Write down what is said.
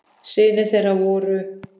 Synir þeirra voru